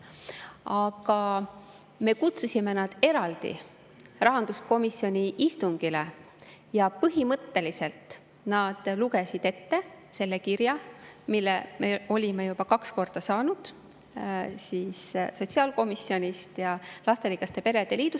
Aga me kutsusime nad eraldi rahanduskomisjoni istungile ja põhimõtteliselt nad lugesid ette selle kirja, mille me olime juba kaks korda saanud – sotsiaalkomisjonist ja lasterikaste perede.